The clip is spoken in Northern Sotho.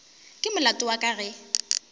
ke molato wa ka ge